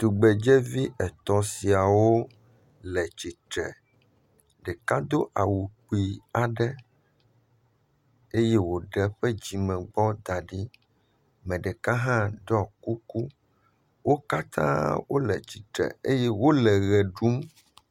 Tugbedzevi etɔ̃ siawo le tsitre. Ɖeka do awu kpui aɖe eye woɖe eƒe dzimegbɔ da ɖi. Ame ɖeka hã ɖɔ kuku. Wo katã hã le tsitre eye wo le ʋe ɖum.